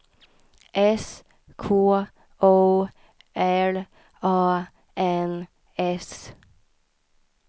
S K O L A N S